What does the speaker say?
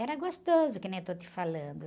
Era gostoso, que nem eu estou te falando.